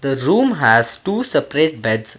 the room has two separate beds.